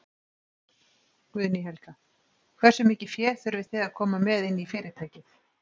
Guðný Helga: Hversu mikið fé þurfið þið að koma með inn í fyrirtækið?